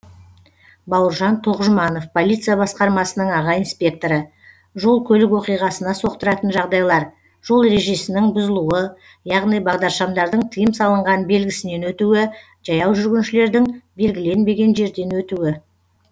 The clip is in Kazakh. бауыржан тоқжұманов полиция басқармасының аға инспекторы жол көлік оқиғасына соқтыратын жағдайлар жол ережесінің бұзылуы яғни бағдаршамдардың тыйым салынған белгісінен өтуі жаяу жүргіншілердің белгіленбеген жерден өтуі